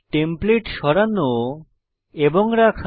template সরানো এবং রাখা